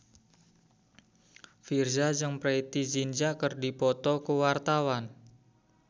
Virzha jeung Preity Zinta keur dipoto ku wartawan